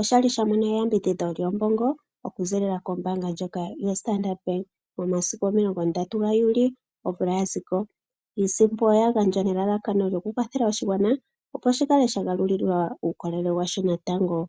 oshali sha mono eyambidhidho lyoshimaliwa okuzilila kombaanga ndjoka yoStandard Bank momasiku omilongo ndatu gaJuli omvula ya ziko. Iisimpo oya gandjwa nelalakano lyokukwathela oshigwana opo shi kale sha galulilwa uukolele washo natango.